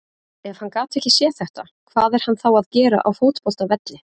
Ef hann gat ekki séð þetta, hvað er hann þá að gera á fótboltavelli?